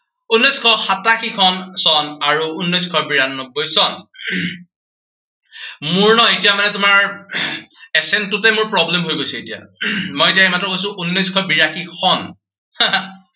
উনৈচশ সাতাশী খন, চন আৰু উনৈচশ বিৰান্নব্বৈ চন। মোৰ ন এতিয়া মানে তোমাৰ আহ assent টোতে মোৰ problem হৈ গৈছে এতিয়া। মই এতিয়া কৈছো উনৈচশ সাতাশী খন